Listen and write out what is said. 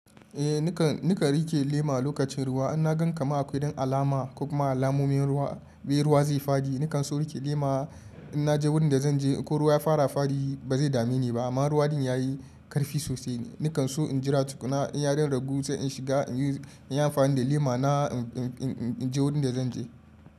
Eh nakan rike lema lokacin ruwa. In na gan kama akwai don alama ko kuma alamomin ruwa, bai ruwa zai fadi. Nakan so in rike lema in naje wurin da zan je. Ko ruwa ya fara fadi ba zai dame ni ba. Amma ruwa din ya yi karfi sosai. Nakan so in jira tukuna in ya rinragu sai in shiga in yi amfani da lema na in je wurin da zan je.